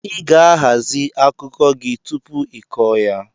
Ị ga-ahazi akụkọ gị tupu ị kọọ ya!